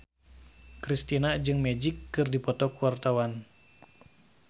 Kristina jeung Magic keur dipoto ku wartawan